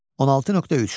16.3.